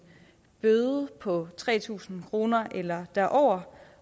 bøde på tre tusind kroner eller derover